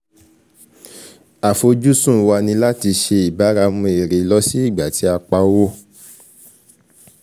Àfojúsùn wa ní láti ṣe ìbáramu èrè lọ sí ìgbà tí a pa owó